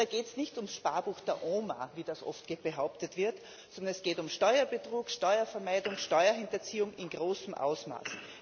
Da geht es nicht um das Sparbuch der Oma, wie das oft behauptet wird, sondern es geht um Steuerbetrug, Steuervermeidung, Steuerhinterziehung in großem Ausmaß.